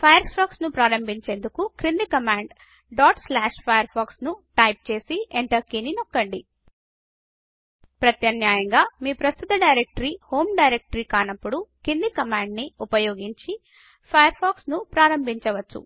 fire pox browser ను ప్రారంభించేందుకు క్రింది కమాండ్ firefox టైపు చేసి ఎంటర్ కీ నొక్కండి ప్రత్యామ్నాయంగా మీ ప్రస్తుత డైరెక్టరీ హోమ్ డైరెక్టరీ కానప్పుడు కింది కమాండ్ ని ఉపయోగించి ఫయర్ ఫాక్స్ ను ప్రారంభించ వచ్చు